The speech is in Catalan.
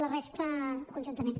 la resta conjuntament